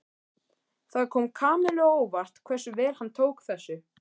Það kom Kamillu á óvart hversu vel hann tók þessu.